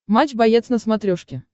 матч боец на смотрешке